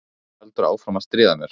En einhver heldur áfram að stríða mér